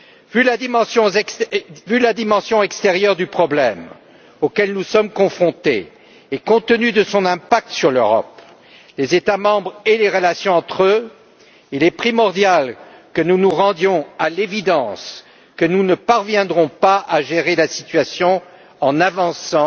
Vu la dimension extérieure du problème auquel nous sommes confrontés et compte tenu de son impact sur l'Europe, les États membres et les relations entre eux, il est primordial que nous nous rendions à l'évidence que nous ne parviendrons pas à gérer la situation en avançant